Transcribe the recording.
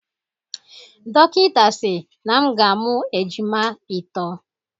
Dọkịta si na m ga-amụ ejima itọ